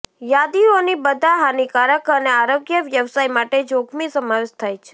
યાદીઓની બધા હાનિકારક અને આરોગ્ય વ્યવસાય માટે જોખમી સમાવેશ થાય છે